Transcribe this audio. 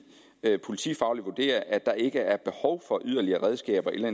politifagligt vurderer at der ikke er behov for yderligere redskaber eller